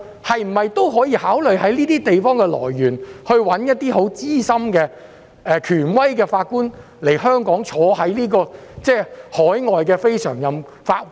香港可否考慮在新加坡等地物色資深和權威的法官來港擔任海外非常任法官？